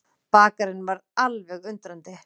Bakarinn varð alveg undrandi.